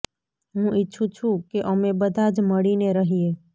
હું ઈચ્છું છું કે અમે બધાં જ મળીને રહીએ